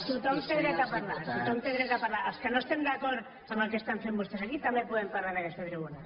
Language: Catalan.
tothom té dret a parlar els que no estem d’acord amb el que estan fent vostès aquí també podem parlar en aquesta tribuna